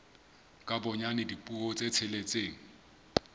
ka bonyane dipuo tse tsheletseng